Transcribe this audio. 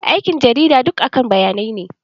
Aikin jarida duk akan bayanai ne.